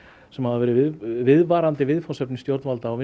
sem hafa verið viðvarandi viðfangsefni stjórnvalda og